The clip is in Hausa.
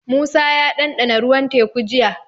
Musa ya ɗanɗana ruwan Teku jiya.